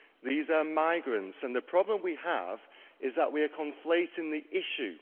These are migrants, and the problem we have is that we are conflating the issue